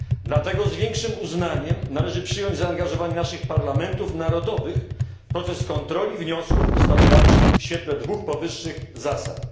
Dlatego z większym uznaniem należy przyjąć zaangażowanie naszych parlamentów narodowych w proces kontroli wniosków ustawodawczych w świetle dwóch powyższych zasad.